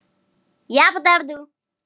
OG LÉTTIR Á YKKUR!